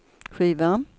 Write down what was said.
skiva